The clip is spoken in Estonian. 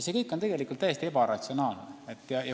See kõik on tegelikult täiesti ebaratsionaalne.